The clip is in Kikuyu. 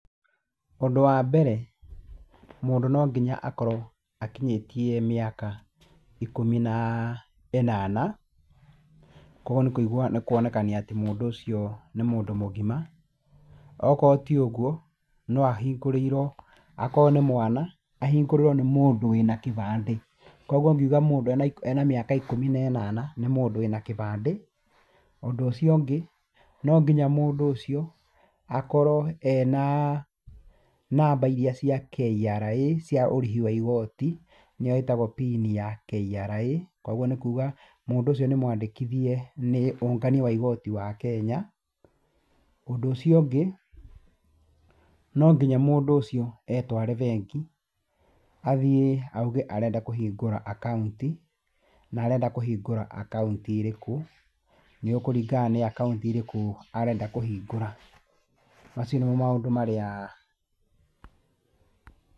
Ũndũ wa mbere mũndũ no nginya akorwo akinyĩtie mĩaka ikũmi na ĩnana. Koguo nĩ kuonekania atĩ mũndu ũcio nĩ mũndũ mũgima. Okorwo ti ũguo no ahingũrĩirwo akorwo nĩ mwana, ahingũrĩrwo nĩ mũndũ wĩna kĩbandĩ. Koguo ngiũga mũndũ ena mĩaka ikũmi na ĩnana nĩ mũndũ wĩna kĩbandĩ, Ũndũ ũcio ũngĩ, no nginya mũndũ ũcio akorwo ena namba iríĩ cia KRA cia ũrĩhi wa igoti, nĩyo ĩtagwo pini ya KRA. Koguo nĩkúuga mũndũ ũcio nĩ mwandĩkithie nĩ ũngania wa igoti wa Kenya. Ũndũ ũcio ũngĩ, no nginya mũndũ ũcio etware bengi, athiĩ auge arenda kũhingũra akaũnti, na arenda kũhingura akaũnti ĩrĩkũ. Nigũkũringana nĩ akaunti ĩrĩkũ arenda kũhingũra. Macio nĩmo maũndũ marĩa